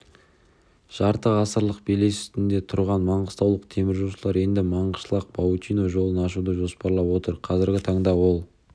жарты ғасырлық белес үстінде тұрған маңғыстаулық теміржолшылар енді маңғышлақ-баутино жолын ашуды жоспарлап отыр қазіргі таңда ол